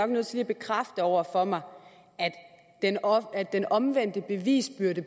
nødt til at bekræfte over for mig at den omvendte bevisbyrde